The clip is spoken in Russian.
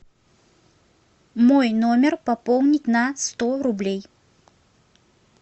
мой номер пополнить на сто рублей